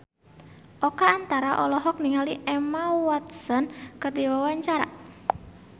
Oka Antara olohok ningali Emma Watson keur diwawancara